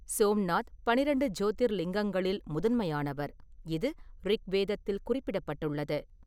சோம்நாத் பன்னிரண்டு ஜோதிர்லிங்கங்களில் முதன்மையானவர், இது ரிக்வேதத்தில் குறிப்பிடப்பட்டுள்ளது.